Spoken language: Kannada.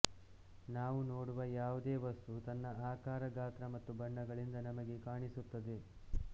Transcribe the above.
ನಾವು ನೋಡುವ ಯಾವುದೇ ವಸ್ತು ತನ್ನ ಆಕಾರ ಗಾತ್ರ ಮತ್ತು ಬಣ್ಣಗಳಿಂದ ನಮಗೆ ಕಾಣಿಸುತ್ತದೆ